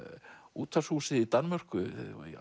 útvarpshúsið í Danmörku